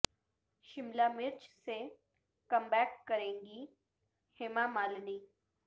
شملہ مرچ سے کم بیک کریں گی ہیما مالنی